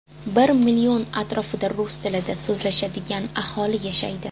Bir million atrofida rus tilida so‘zlashadigan aholi yashaydi.